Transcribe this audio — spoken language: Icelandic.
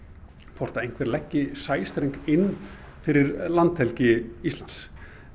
hvort einhver leggur sæstreng inn fyrir landhelgi Íslands